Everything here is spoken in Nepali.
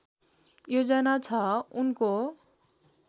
योजना छ उनको